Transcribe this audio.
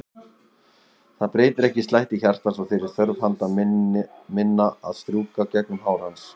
Það breytir ekki slætti hjartans og þeirri þörf handa minna að strjúka gegnum hár hans.